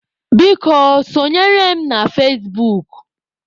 Biko, sọnyere m na fazebuk.